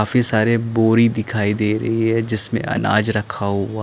काफी सारे बोरी दिखाई दे रही है जिसमें अनाज रखा हुआ--